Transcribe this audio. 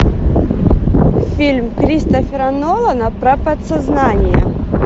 фильм кристофера нолана про подсознание